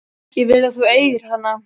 Ég vil að þú eigir hana.